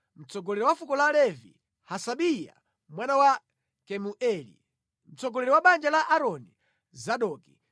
mtsogoleri wa fuko la Levi: Hasabiya mwana wa Kemueli, mtsogoleri wa banja la Aaroni: Zadoki;